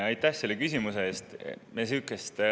Aitäh selle küsimuse eest!